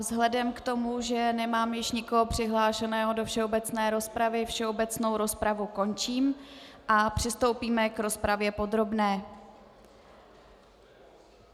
Vzhledem k tomu, že nemám již nikoho přihlášeného do všeobecné rozpravy, všeobecnou rozpravu končím a přistoupíme k rozpravě podrobné.